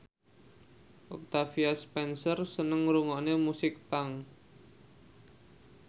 Octavia Spencer seneng ngrungokne musik punk